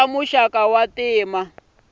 swa muxaka wa ntima na